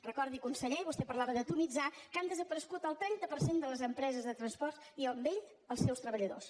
recordi conseller vostè parlava d’ atomitzar que han desaparegut el trenta per cent de les empreses de transport i amb elles els seus treballadors